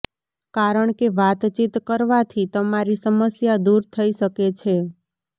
કારણકે વાતચીત કરવાથી તમારી સમસ્યા દૂર થઇ શકે છે